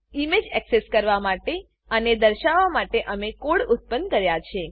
image access કરવા માટે અને દર્શાવવા માટે અમે કોડ ઉત્પન્ન કર્યા છે